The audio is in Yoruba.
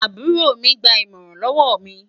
àbúrò mi gbà imọran lówó mí